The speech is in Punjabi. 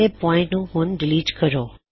ਪਹਿਲੇ ਪੌਇਨਟ ਨੂੰ ਹੁਣ ਡਿਲੀਟ ਕਰੋ